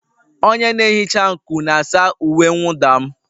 Onye na-ehicha nkụ na-asa uwe mwụda m.